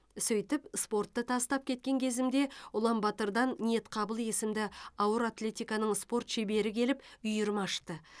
сөйтіп спортты тастап кеткен кезімде ұлан батырдан ниетқабыл есімді ауыр атлетиканың спорт шебері келіп үйірме ашты